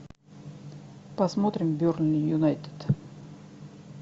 посмотрим бернли юнайтед